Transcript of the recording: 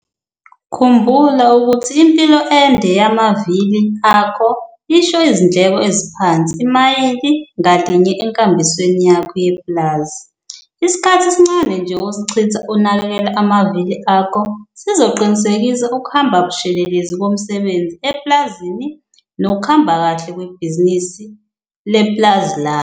Khumbula ukuthi impilo ende yamavili akho isho izindleko eziphansi imayili ngalinye enkambisweni yakho yepulazi. Isikhathi esincane nje osichitha unakekela amavili akho sizoqinisekisa ukuhamba bushelelezi komsebenzi epulazini nokuhamba kahle kwebhizinisi lepulazi lakho.